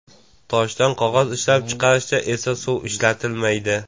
Toshdan qog‘oz ishlab chiqarishda esa suv ishlatilmaydi.